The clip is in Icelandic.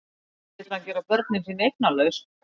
Ekki vill hann gera börnin sín eignalaus.